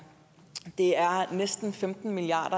det er næsten femten milliard